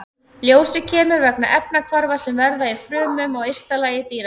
Ljósið kemur vegna efnahvarfa sem verða í frumum á ysta lagi dýranna.